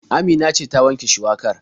Amina ce ta wanke shuwakar.